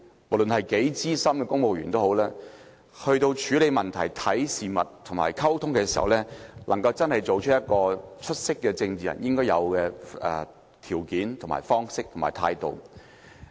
無論是多資深的公務員，他在處理問題、看事物和溝通時，也要做到出色政治人應有的條件、方式和態度。